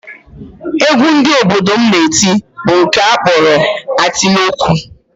Egwu ndị obodo m na-eti bụ nke a kpọrọ atịlọgwụ